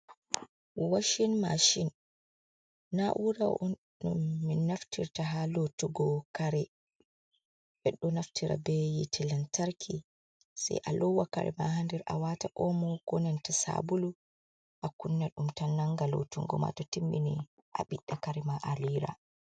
Washin mashin na'ura on min naftirta ha lotugo kare, ɓeɗo Naftira be yite lantarki sai a lowa kare ma hander awata omo ko nanta sabulu a kunna ɗum tan nanga lotungo ma, tow timmini a biɗda kare ma alira.